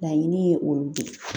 Laɲini ye olu de ye.